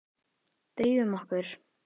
Drífum okkur.